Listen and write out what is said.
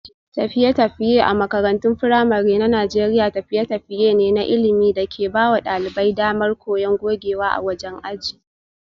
Tafiye-tafiye a makarantun firamare na Najeriya tafiye-tafiye ne na ilimi da ke ba wa ɗalibai damar koyon gogewa a wajen aji.